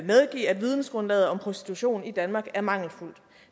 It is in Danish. medgive at vidensgrundlaget om prostitution i danmark er mangelfuldt